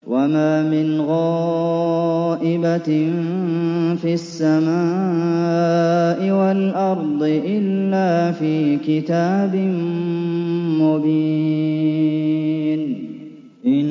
وَمَا مِنْ غَائِبَةٍ فِي السَّمَاءِ وَالْأَرْضِ إِلَّا فِي كِتَابٍ مُّبِينٍ